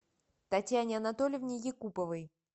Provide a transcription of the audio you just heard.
татьяне анатольевне якуповой